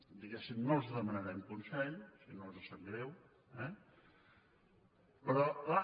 diguéssim no els demanarem consell si no els sap greu eh però clar